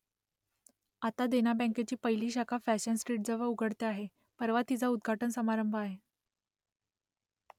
आता देना बँकेची पहिली शाखा फॅशन स्ट्रीटजवळ उघडते आहे , परवा तिचा उद्घाटन समारंभ आहे